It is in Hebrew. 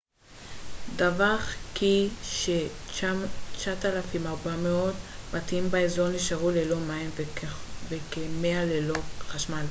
דווח כי ש-9400 בתים באזור נשארו ללא מים וכ-100 ללא חשמל